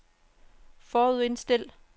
forudindstil